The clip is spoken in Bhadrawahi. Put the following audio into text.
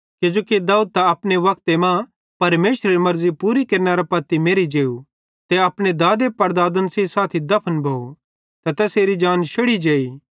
किजोकि दाऊद त अपने वक्ते मां परमेशरेरी मर्ज़ी पूरी केरनेरां पत्ती मेरि जेव ते अपने दादनपड़दादन सेइं साथी दफन भोव ते तैसेरी जान शैड़ी जेई